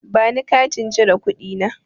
Bani Katin cire kuɗi na.